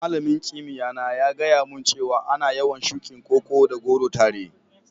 Malamin kimiyya na ya gaya mun cewa ana yawan shukin Koko da goro tare.